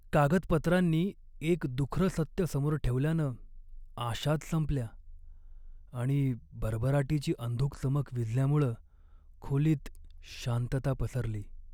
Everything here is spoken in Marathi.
कागदपत्रांनी एक दुखरं सत्य समोर ठेवल्यानं आशाच संपल्या आणि भरभराटीची अंधुक चमक विझल्यामुळं खोलीत शांतता पसरली.